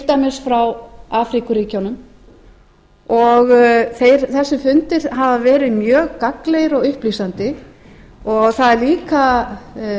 dæmis frá afríkuríkjunum þessir fundir hafa verið mjög gagnlegir og upplýsandi það er líka